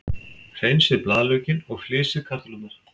Hreinsið blaðlaukinn og flysjið kartöflurnar.